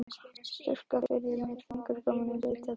Strjúka yfir það með fingurgómunum, leita að dældinni.